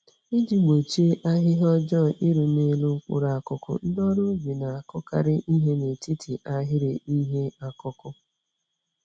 Iji gbochie ahịhịa ọjọọ iru n'elu mkpụrụ akụkụ, ndị ọrụ ubi na-akụkarị ìhè n'etiti ahịrị ihe ọkụkụ.